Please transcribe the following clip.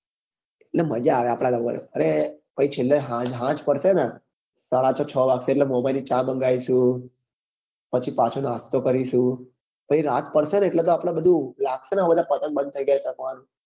એટલે મજા આવે આપડે ધાબા પર અને પછી છેલ્લે છેલ્લે સાંજ પડશે ને સાડા છ કચ વાગશે એટલે ચા માંન્ગાવીસું પછી પાછો નાસ્તો કરીશું પછી રાત પડશે ને એટલે તો આપડે બધું લાગશે ને પતંગ બંદ થઇ ગયા ચગવા નું